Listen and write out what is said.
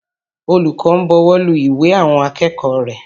Olùkọ́ ń bọwọ́lu ìwé àwọn akẹ́kọ̀ọ́ rẹ̀.